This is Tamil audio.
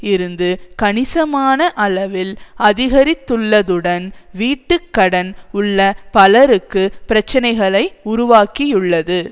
இருந்து கணிசமான அளவில் அதிகரித்துள்ளதுடன் வீட்டுக்கடன் உள்ள பலருக்கு பிரச்சனைகளை உருவாக்கியுள்ளது